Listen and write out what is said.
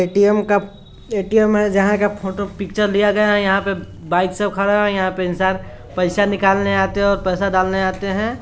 ATM का ATM है जहा का फोटो पिक्चर लिया गया है| यहाँ पर बाइक खड़ा है| यहाँ पे इंसान पैसा निकलने आते है और पैसा डालने आते है।